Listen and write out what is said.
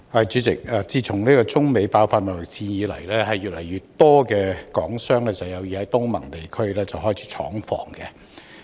主席，自中美爆發貿易戰以來，越來越多港商有意在東盟地區開設廠房。